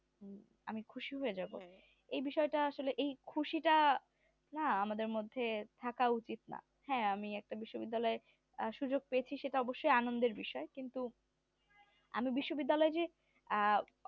আমি খুশি হয়ে যাবো এই বিষয়টা আসলে এই খুশি টা না আমাদের মধ্যে থাকা উচিত না হ্যাঁ আমি একটা বিশ্ববিদ্যালয়ে সুযোগ পেয়েছি সেইটা অবশ্যই আনন্দের বিষয় কিন্তু আমি বিশ্ববিদ্যালয়ে যে আহ